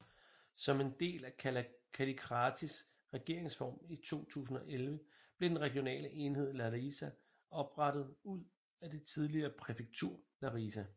Som en del af Kallikratis regeringsreform i 2011 blev den regionale enhed Larisa oprettet ud af det tidligere præfektur Larisa